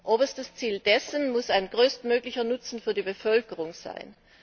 Oberstes Ziel dessen muss ein größtmöglicher Nutzen für die Bevölkerung sein.